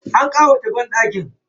An ƙawata banɗakin.